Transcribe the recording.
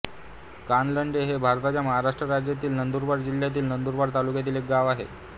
कानलडे हे भारताच्या महाराष्ट्र राज्यातील नंदुरबार जिल्ह्यातील नंदुरबार तालुक्यातील एक गाव आहे